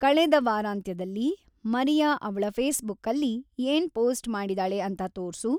ಕಳೆದ ವಾರಾಂತ್ಯದಲ್ಲಿ ಮರಿಯಾ ಅವ್ಳ ಫೇಸ್ಬುಕ್ಕಲ್ಲಿ ಏನ್‌ ಪೋಸ್ಟ್‌ ಮಾಡಿದಾಳೆ ಅಂತ ತೋರ್ಸು